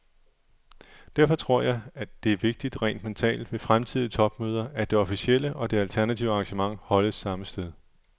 Derfor tror jeg, det er vigtigt rent mentalt ved fremtidige topmøder, at det officielle og det alternative arrangement holdes samme sted.